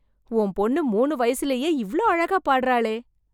உன் பொண்ணு மூணு வயசுலயே எவ்ளோ அழகா பாடறாளே..